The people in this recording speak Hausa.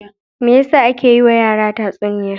Me ya sa ake yiwa yara tatsuniya?